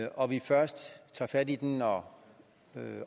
og vi først tager fat i den når